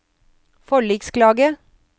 forliksklage